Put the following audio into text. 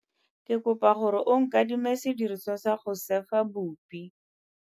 Ke kopa gore o nkadime sediriswa sa go sêfa bupi.